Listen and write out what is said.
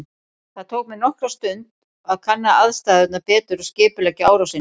Það tók mig nokkra stund að kanna aðstæðurnar betur og skipuleggja árásina.